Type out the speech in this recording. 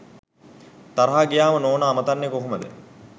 තරහා ගියාම නෝනා අමතන්නේ කොහොමද?